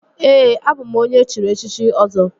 Ee, abụ m onye echiri echichi Ọzọ